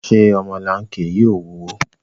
Ṣé ọmọlanke yìí ò wúwo?